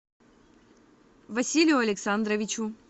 василию александровичу